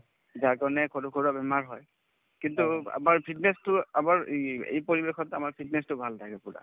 যাৰ কাৰণে সৰুসুৰা বেমাৰ হয় কিন্তু আমাৰ fitness তো আমাৰ ই এই পৰিৱেশত আমাৰ fitness তো ভাল থাকে পূৰা